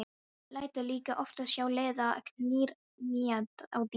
Lætur líka oftast hjá líða að knýja á dyr.